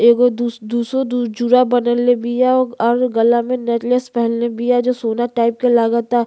एगो दुस दुसो दु ज़ुरा बनले बिया और गला में नेकलेस पहेनले बिया जो सोना टाइप के लागता।